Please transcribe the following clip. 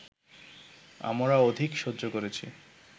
আমরা অধিক সহ্য করেছি